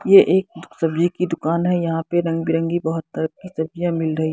ये एक सब्जी की दुकान है यहां पे रंग बिरंगी बहुत तरह की सब्जियां मिल रही ।